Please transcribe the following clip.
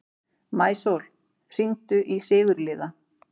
Maísól, hringdu í Sigurliða.